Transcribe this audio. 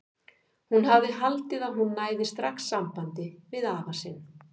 Hún hafði haldið að hún næði strax sambandi við afa sinn.